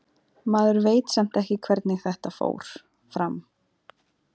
Maður veit samt ekki hvernig þetta fór fram.